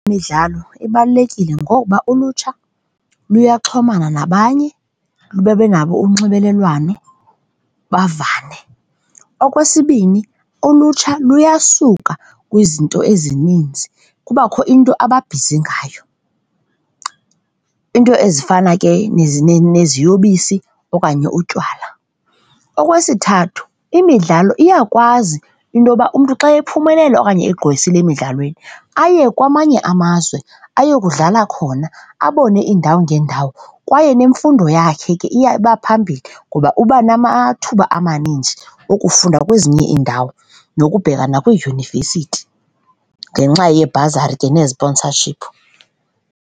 Imidlalo ibalulekile ngoba ulutsha luyaxhomana nabanye lube nabo unxibelelwano, bavane. Okwesibini, ulutsha luyasuka kwizinto ezininzi, kubakho into aba bhizi ngayo. Iinto ezifana ke neziyobisi okanye utywala. Okwesithathu imidlalo iyakwazi into yokuba umntu xa ephumelela okanye egqwesile emidlalweni aye kwamanye amazwe, ayokudlala khona, abone iindawo ngeendawo. Kwaye nemfundo yakhe ke iya iba phambili ngoba uba namathuba amaninzi okufunda kwezinye iindawo nokubheka nakwiidyunivesithi ngenxa yeebhazari ke neziponsashiphu.